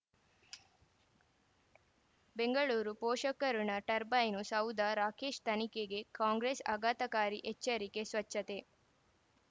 ಬೆಂಗಳೂರು ಪೋಷಕ ಋಣ ಟರ್ಬೈನು ಸೌಧ ರಾಕೇಶ್ ತನಿಖೆಗೆ ಕಾಂಗ್ರೆಸ್ ಆಘಾತಕಾರಿ ಎಚ್ಚರಿಕೆ ಸ್ವಚ್ಛತೆ